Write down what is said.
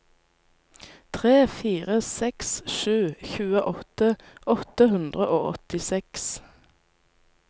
tre fire seks sju tjueåtte åtte hundre og åttiseks